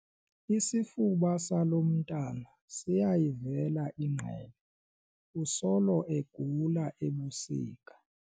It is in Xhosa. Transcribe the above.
Isifuba salo mntwana siyayivela ingqele usolo egula ebusika.